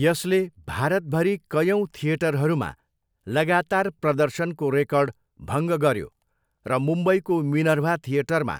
यसले भारतभरि कयौँ थिएटरहरूमा लगातार प्रदर्शनको रेकर्ड भङ्ग गऱ्यो र मुम्बईको मिनर्भा थिएटरमा